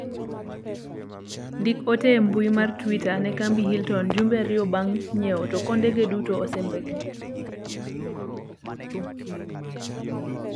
ndik ote e mbui mar twita ne kambi hilton jumbe ariyo bang' nyiewo to kondege duto osembekni